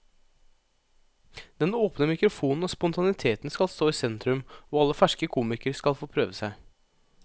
Den åpne mikrofonen og spontaniteten skal stå i sentrum, og alle ferske komikere skal få prøve seg.